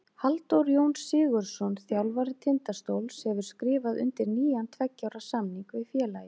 Halldór Jón Sigurðsson, þjálfari Tindastóls, hefur skrifað undir nýjan tveggja ára samning við félagið.